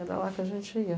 Era lá que a gente ia.